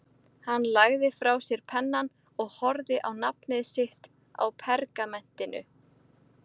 Hann lagði frá sér pennann og horfði á nafnið sitt á pergamentinu.